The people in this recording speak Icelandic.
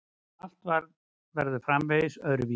Að allt verður framvegis öðruvísi.